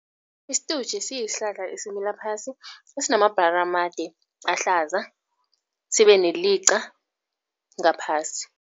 Isitutjhe siyihlahla esimila phasi, esinamabhlara amade ahlaza, sibe neliqa ngaphasi.